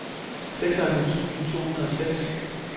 seksoghalvfems tusind to hundrede og seks